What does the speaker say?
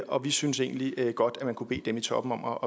og vi synes egentlig at man godt kunne bede dem i toppen om